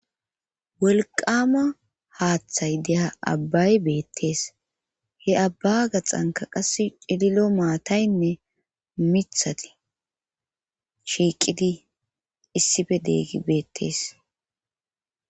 wolqama haaththay de'iya abbay beettees he abba gaxanka qasse cililo maataynne mithati shiiqidi issife dee'eggi beettees